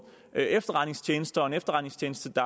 efterretningstjeneste og en efterretningstjeneste